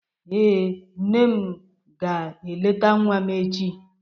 Ee, nne di m ga-eleta nwa m echi.